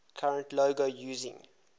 current logo using